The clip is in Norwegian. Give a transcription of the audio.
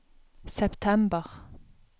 september